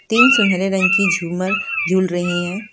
तीन सुनहरे रंग की झूमर झूल रही है।